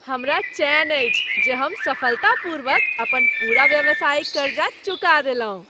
हमरा चैन अछि जे हम सफलतापूर्वक अपन पूरा व्यावसायिक करजा चुका देलहुँ।